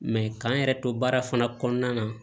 Mɛ k'an yɛrɛ to baara fana kɔnɔna na